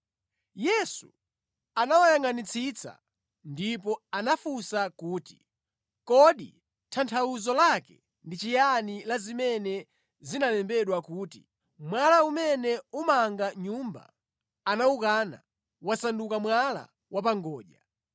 Yesu anawayangʼanitsitsa ndipo anafunsa kuti, “Kodi tanthauzo lake ndi chiyani la zimene zinalembedwa kuti, “ ‘Mwala umene omanga nyumba anawukana wasanduka mwala wa pa ngodya.